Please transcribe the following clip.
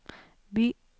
by